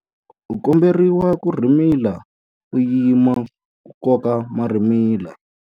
U komberiwa ku rhimila u yima ku koka marhimila.